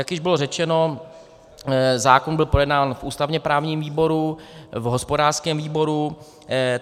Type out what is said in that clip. Jak již bylo řečeno, zákon byl projednán v ústavně-právním výboru, v hospodářském výboru.